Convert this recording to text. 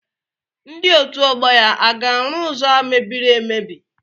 Ndị otu ọgbọ ya a ga-arụ ụzọ a mebiri emebi?